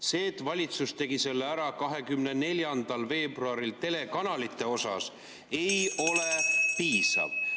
See, et valitsus tegi selle ära 24. veebruaril telekanalite osas, ei ole piisav.